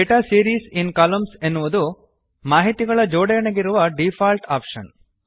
data series in columns ಎನ್ನುವುದು ಮಾಹಿತಿಗಳ ಜೋಡಣೆಗಿರುವ ಡೀಫಾಲ್ಟ್ ಆಪ್ಷನ್